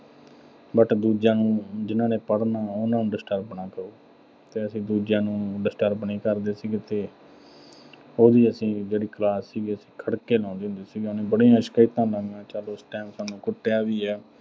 but ਦੂਜਿਆਂ ਨੂੰ ਜਿੰਨ੍ਹਾਂ ਨੇ ਪੜ੍ਹਨਾ, ਉਨ੍ਹਾਂ ਨੂੰ disturb ਨਾ ਕਰੋ। ਤੇ ਅਸੀਂ ਦੂਜਿਆਂ ਨੂੰ disturbed ਨੀਂ ਕਰਦੇ ਸੀਗੇ ਤੇ ਉਹਦੀ ਜਿਹੜੀ class ਸੀ, ਅਸੀਂ ਖੜ੍ਹ ਕੇ ਲਾਉਂਦੇ ਹੁੰਦੇ ਸੀਗੇ। ਉਹਨੇ ਬੜੇ ਮੁਸ਼ਕਿਲ ਨਾਲ ਚਲ ਸਾਨੂੰ ਉਸ time ਕੁੱਟਿਆ ਵੀ ਆ।